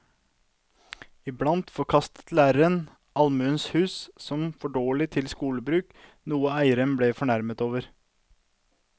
Iblant forkastet læreren allmuens hus som for dårlige til skolebruk, noe eierne ble fornærmet over.